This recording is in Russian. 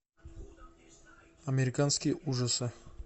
американские ужасы